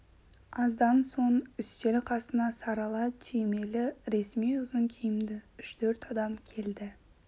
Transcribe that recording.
аздан соң үстел қасына сарала түймелі ресми ұзын киімді үш-төрт адам келді